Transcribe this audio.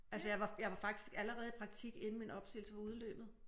Altså jeg var jeg var faktisk allerede i praktik inden min opsigelse var udløbet